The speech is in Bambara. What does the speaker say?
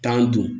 Tan don